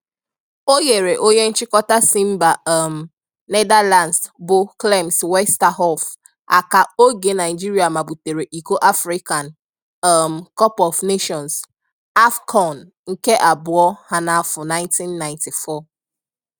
O nyeere onye nchịkọta si mba um Netherlands bụ Clemens Westerhof aka oge Naịjirịa mabutere iko African um Cup of Nations (AFCON) nke abụọ ha n'afọ 1994